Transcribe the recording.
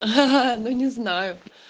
ха-ха ну не знаю